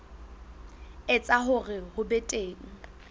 etsa hore ho be teng